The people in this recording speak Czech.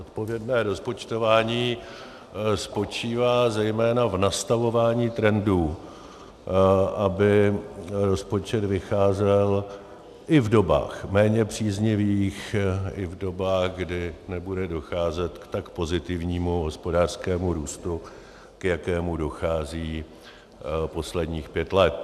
Odpovědné rozpočtování spočívá zejména v nastavování trendů, aby rozpočet vycházel i v dobách méně příznivých, i v dobách, kdy nebude docházet k tak pozitivnímu hospodářskému růstu, k jakému dochází posledních pět let.